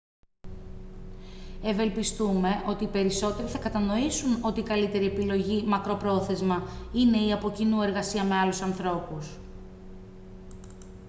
ευελπιστούμε ότι οι περισσότεροι θα κατανοήσουν ότι η καλύτερη επιλογή μακροπρόθεσμα είναι η από κοινού εργασία με άλλους ανθρώπους